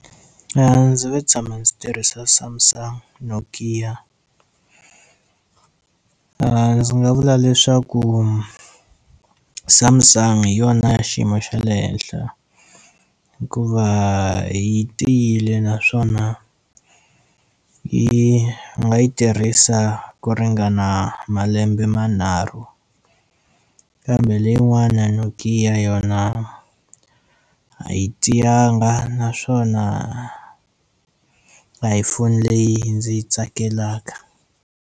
Ndzi ve tshama ndzi tirhisa Samsung Nokia ndzi nga vula leswaku Samsung hi yona ya xiyimo xa le henhla hikuva yi tiyile naswona yi nga yi tirhisa ku ringana malembe manharhu kambe leyi n'wana Nokia yona a yi tiyanga naswona a hi phone leyi ndzi yi tsakelaka.